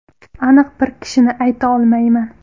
Aniq bir kishini ayta olmayman.